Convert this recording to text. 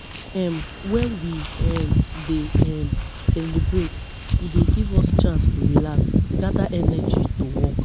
um Wen we um dey um celebrate, e dey give us chance to relax, gada energy to work.